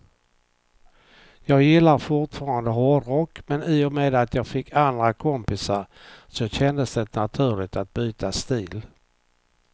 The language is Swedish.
Jag gillar fortfarande hårdrock, men i och med att jag fick andra kompisar så kändes det naturligt att byta stil.